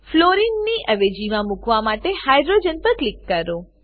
fluorine fluorine ની અવેજીમાં મુકાવા માટે હાઇડ્રોજન પર ક્લિક કરો